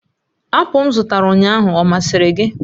apụl m zụtara ụnyaahụ ọ masịrị gị?